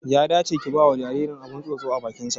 Ya dace ki bawa jaririn abin tsotso a bakin sa